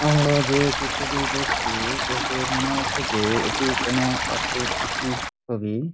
আমরা যে চিত্র টি দেখছি দেখে মনে হচ্ছে যে এটি কোনো একটি ইসের ছবি |